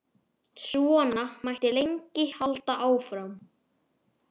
Svona mætti lengi halda áfram.